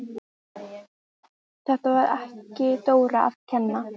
Þetta var ekki Dóra að kenna!